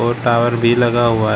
Tower भी लगा हुआ हैं।